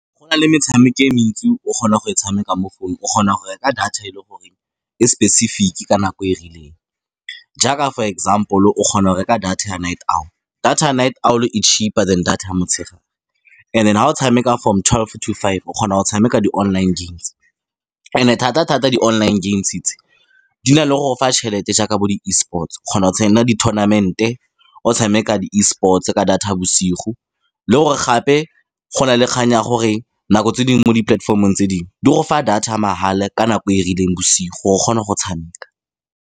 Go na le metshameko e mentsi o kgona go e tshameka mo founung. O kgona go reka data e leng gore e specific-e ka nako e e rileng. Jaaka for example, o kgona go reka data ya night owl. Data ya night owl e cheaper than data ya motshegare. And then, ga o tshameka from twelve to five, o kgona go tshameka di-online games. And-e thata-thata, di-online games tse di na le go go fa tšhelete jaaka bo di-Esports-o. O kgona go tsena di-tounament-e, o tshameka di-Esports-e ka data ya bosigo. Le gore gape, go na le kgang ya gore nako tse dingwe mo dipolatefomong tse dingwe, di go fa data ya mahala ka nako e rileng bosigo, gore o kgone go tshameka.